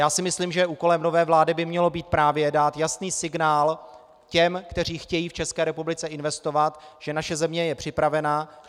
Já si myslím, že úkolem nové vlády by mělo být právě dát jasný signál těm, kteří chtějí v České republice investovat, že naše země je připravena.